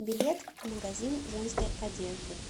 билет магазин женской одежды